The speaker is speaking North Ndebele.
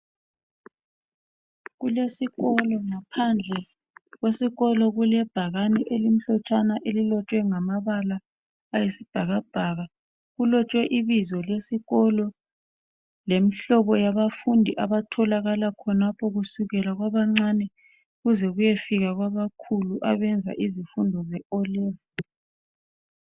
Kulesikolo, ngaphandle kwesikolo kulebhakane elilotshwe ngamabala ayisibhakabhaka. Kulotshwe ibizo lesikolo lemihlobo yabafundi abatholakala khonapho kusukela kwabancane kuze kuyefika kwabakhulu abenza izifundo ze O level